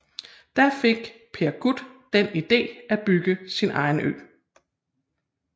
Da fik Per Gut den idé at bygge sin egen ø